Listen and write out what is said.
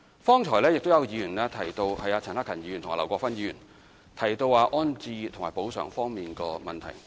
方才有議員，包括陳克勤議員和劉國勳議員，提到安置及補償方面的問題。